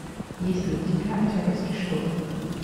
есть ли у тебя октябрьский шторм